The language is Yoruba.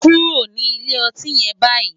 Kúró ni ilé òtín yèn bàyí